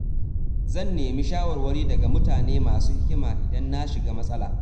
Zan nemi shawarwari daga mutane masu hikima idan na shiga matsala.